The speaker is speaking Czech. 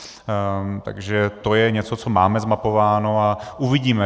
Takže to je něco, co máme zmapováno, a uvidíme.